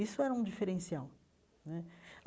Isso era um diferencial né.